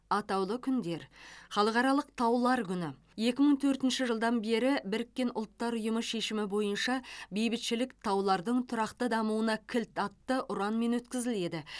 атаулы күндер халықаралық таулар күні екі мың төртінші жылдан бері біріккен ұлттар ұйымы шешімі бойынша бейбітшілік таулардың тұрақты дамуына кілт атты ұранмен өткізіледі